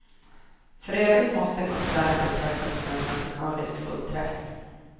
För övrigt måste konserten betraktas som en musikalisk fullträff.